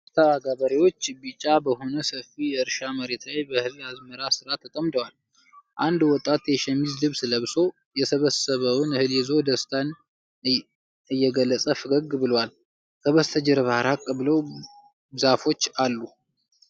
በርካታ ገበሬዎች ቢጫ በሆነ ሰፊ የእርሻ መሬት ላይ በእህል አዝመራ ሥራ ተጠምደዋል። አንድ ወጣት የሸሚዝ ልብስ ለብሶ፣ የሰበሰበውን እህል ይዞ ደስታን እየገለጸ ፈገግ ብሏል። ከበስተጀርባ ራቅ ብለው ዛፎች አሉ።